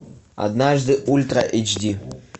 однажды ультра эйч ди